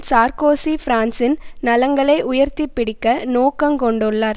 Sarkozy பிரான்சின் நலன்களை உயர்த்தி பிடிக்க நோக்கங்க்கொண்டுள்ளார்